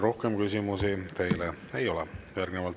Rohkem küsimusi teile ei ole.